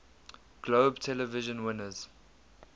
globe television winners